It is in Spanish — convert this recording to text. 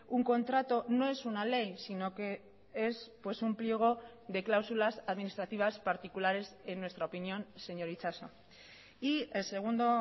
un contrato no es una ley sino que es un pliego de cláusulas administrativas particulares en nuestra opinión señor itxaso y el segundo